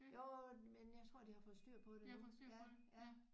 Jo men jeg tror de har fået styr på det nu ja ja